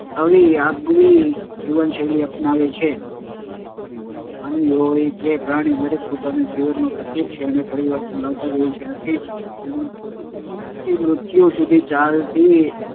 લાવી આગવી જીવનશૈલી અપનાવે છે. માનવી હોય કે પ્રાણી દરેક પોતાનાં જીવનમાં પ્રત્યેક ક્ષણે પરિવર્તન લાવતા જ હોય છે. આથી જ શિક્ષણએ જન્મથી મૃત્યુ સુધી ચાલતી